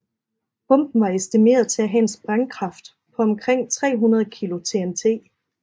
Bomben var estimeret til at have en sprængkraft på omkring 300 kilo TNT